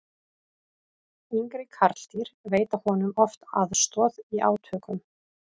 yngri karldýr veita honum oft aðstoð í átökum